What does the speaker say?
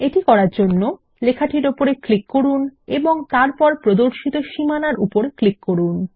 এটি করার জন্য লেখাটির উপর ক্লিক করুন এবং তারপর প্রদর্শিত সীমানার উপর ক্লিক করুন